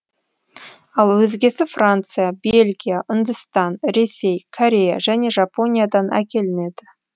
ал өзгесі франция бельгия үндістан ресей корея және жапониядан әкелінеді